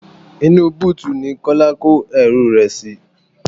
Inú búùtì ní Kọ́lá kó ẹrú rẹ sì.